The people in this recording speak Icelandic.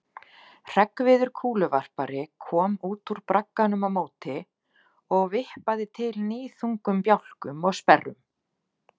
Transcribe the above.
Hreggviður kúluvarpari kom út úr bragganum á móti og vippaði til níðþungum bjálkum og sperrum.